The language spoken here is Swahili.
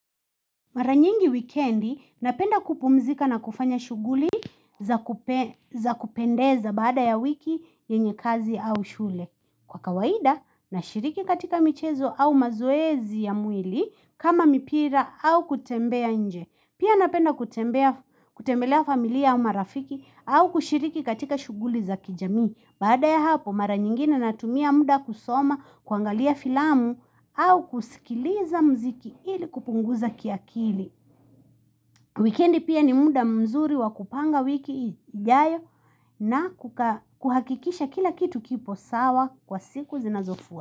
Mara nyingi wikendi, napenda kupumzika na kufanya shughuli za kupendeza baada ya wiki, yenye kazi au shule. Kwa kawaida, na shiriki katika michezo au mazoezi ya mwili kama mipira au kutembea nje. Pia napenda kutembelea familia au marafiki au kushiriki katika shughuli za kijamii. Baada ya hapo mara nyingine natumia muda kusoma kuangalia filamu au kusikiliza muziki ili kupunguza kiakili. Wikendi pia ni muda mzuri wakupanga wiki ijayo na kukaa kuhakikisha kila kitu kipo sawa kwa siku zinazofua.